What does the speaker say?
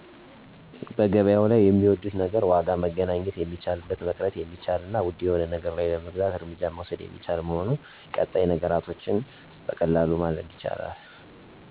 1. በገበያው ላይ የሚወዱት ነገር ዋጋ መገናኘት የሚቻልበት፣ መቅረት የሚቻል እና ውድ የሆነ ነገር ለመግዛት እርምጃ መውሰድ የሚቻል መሆኑ። ቀጣይ ነገሮችን ማግኘት (በቀላሉ እና በጊዜ ሳይወሰድ)። ምርቶች በየአይነቱ ተቀመጡ መሆናቸው፣ እና የእቃውን መመርመር በራስዎ 2. በገበያው ላይ የሚጠሉት ነገር ተጨማሪ ብዛት፣ ግጭት ወይም ተቃውሞ ከአካባቢ ሰዎች። አንዳንድ አንዳንድ ነገሮች የተበላሸ ወይም እሴት የጐደለባቸው መሆናቸው። ዋጋዎች የተለዋዋጭ መሆናቸው፣ ለአንዳንድ ነገሮች ዋጋ በተመሳሳይ ቦታ የተለያዩ መሆኑ።